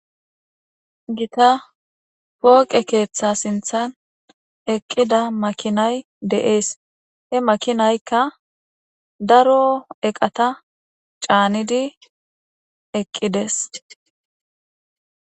Gita poqe ketha sinthan eqida makinay de'es he makinaykka daro eqata canidi eqidese